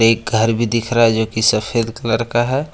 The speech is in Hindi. एक घर भी दिख रहा है जोकि सफेद कलर का है।